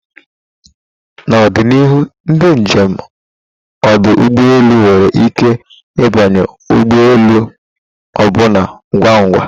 na ọdịnihu, ndị njem ọdụ ụgbọ elu nwere ike ịbanye ụgbọ elu ọbụna ngwa ngwa